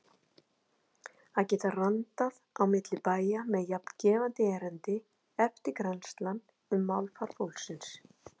Að geta randað á milli bæja með jafn gefandi erindi: eftirgrennslan um málfar fólksins.